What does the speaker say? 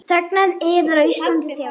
Þegnar yðar á Íslandi þjást.